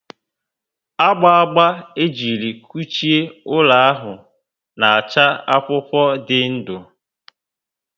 gba gba m ejiri kuchie ụlọ ahụ na acha akwụkwọ ndị ndụ